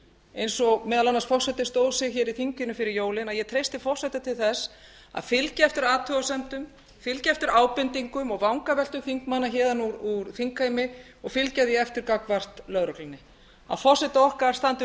eins og forseti stóð sig meðal annars hér í þinginu fyrir jólin að fylgja eftir athugasemdum fylgja eftir ábendingum og vangaveltum þingmanna héðan úr þingheimi og fylgja því eftir gagnvart lögreglunni að forseti okkar standi vörð